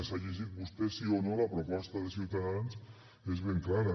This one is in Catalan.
s’ha llegit vostè sí o no la proposta de ciutadans és ben clara